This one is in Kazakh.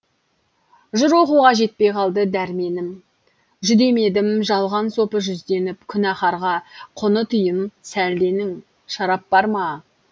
жыр оқуға жетпей қалды дәрменім жүдемедім жалған сопы жүзденіп күнәһарға құны тиын сәлденің шарап бар ма